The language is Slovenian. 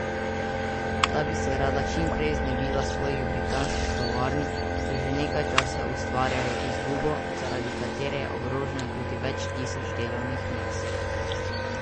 Ta bi se rada čim prej znebila svojih britanskih tovarn, ki že nekaj časa ustvarjajo izgubo, zaradi katere je ogroženo tudi več tisoč delovnih mest.